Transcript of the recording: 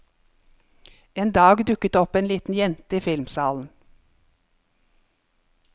En dag dukket det opp en liten jente i filmsalen.